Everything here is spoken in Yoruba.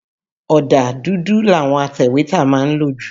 Ọ̀dà dùdù làwọn atẹ̀wétà má ń lò jù.